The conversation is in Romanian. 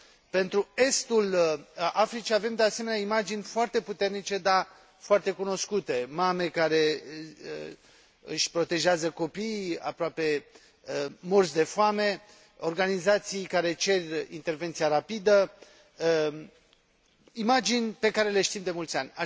Pentru estul Africii avem, de asemenea, imagini foarte puternice, dar foarte cunoscute mame care își protejează copiii aproape morți de foame, organizații care cer intervenția rapidă imagini pe care le știm de mulți ani.